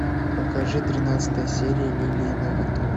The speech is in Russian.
покажи тринадцатая серия лилии на ветру